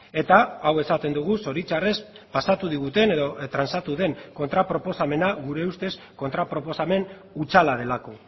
eta hau esaten dugu zoritxarrez pasatu diguten edo transatu den kontra proposamena gure ustez kontra proposamen hutsala delako